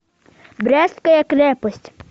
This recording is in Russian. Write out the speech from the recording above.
брестская крепость